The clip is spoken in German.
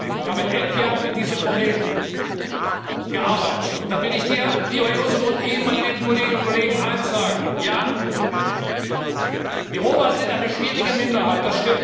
Ich habe elf Jahre mit diesem Problem gearbeitet, und da will ich Dir, lieber Joseph, und Ihnen, meine lieben Kolleginnen und Kollegen, eins sagen Ja, die Roma sind eine schwierige Minderheit.